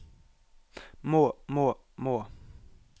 må må må